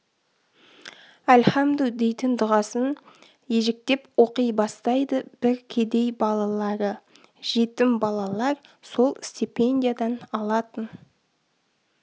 әлхамдү дейтін дұғасын ежіктеп оқи бастайды бір кедей балалары жетім балалар сол стипендиядан алатын